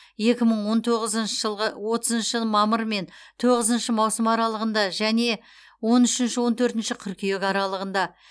екі мың он тоғызыншы жылғы отызыншы мамыр мен тоғызыншы маусым аралығында және он үшінші он төртінші қыркүйек аралығында